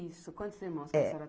Isso, quantos irmãos a senhora tinha? É